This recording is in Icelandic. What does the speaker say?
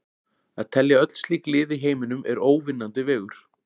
Að telja öll slík lið í heiminum er óvinnandi vegur.